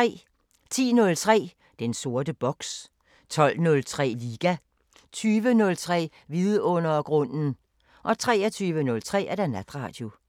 10:03: Den sorte boks 12:03: Liga 20:03: Vidundergrunden 23:03: Natradio